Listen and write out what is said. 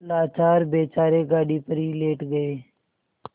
लाचार बेचारे गाड़ी पर ही लेट गये